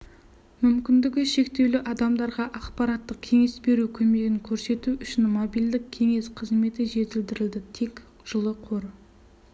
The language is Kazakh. мүмкіндігі шектеулі адамдарға ақпараттық-кеңес беру көмегін көрсету үшін мобильдік кеңсе қызметі жетілдірілді тек жылы қор